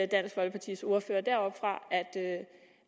dansk folkepartis ordfører deroppefra